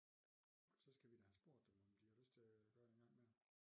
Så skal vi da have spurgt dem om de har lyst til at gøre det en gang mere